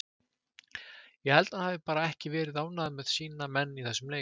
Ég held að hann hafi bara ekki verið ánægður með sína menn í þessum leik.